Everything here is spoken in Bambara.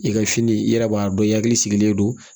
I ka fini i yɛrɛ b'a dɔn i hakili sigilen don